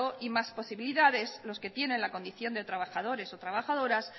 y más posibilidades los que tienen la condición de trabajadores o trabajadoras